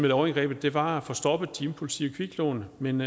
lovindgrebet var at få stoppet de impulsive kviklån men